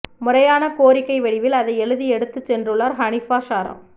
முறையான கோரிக்கை வடிவில் அதை எழுதி எடுத்து சென்றுள்ளார் ஹனீஃபா ஸாரா